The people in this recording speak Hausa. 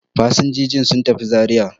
Fasinjiji sun tafi Zariya.